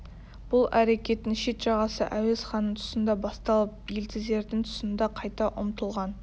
бұл әрекеттің шет жағасы әуез ханның тұсында басталып елтізердің тұсында қайта ұмтылған